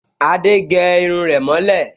Adé gẹ irun rẹ̀ mọ́ lẹ̀